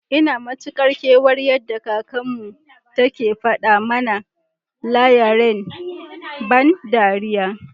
Ina Mari Kar kewan yada kakan mu, take fada mana lava rain ban dariya.